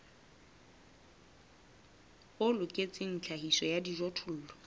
o loketseng tlhahiso ya dijothollo